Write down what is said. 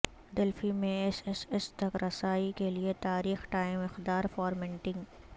Delphi میں S S S تک رسائی کے لئے تاریخ ٹائم اقدار فارمیٹنگ